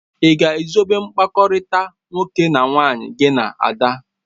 Ị ga-ezobe mkpakọrịta nwoke na nwaanyị gị na Ada?.